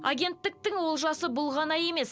агенттіктің олжасы бұл ғана емес